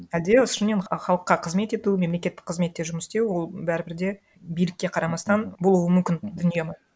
әлде шынымен халыққа қызмет ету мемлекеттік қызметте жұмыс істеу ол бәрібір де билікке қарамастан болуы мүмкін дүние ма